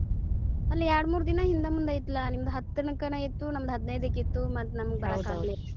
ಅಲ್ ಎರ್ಡಮೂರ್ ದಿನಾ ಹಿಂದ ಮುಂದ ಇತ್ಲಾ ನಿಮ್ದ್ ಹತ್ತಕನ ಇತ್ತು ನಮ್ದ್ ಹದಿನೈದಕ್ಕ್ ಇತ್ತು ಮತ್ತ ನಮ್ಗ ಬರಕಾಗ್ಲಿಲ್ಲ ಹಿಂಗಾಗಿ.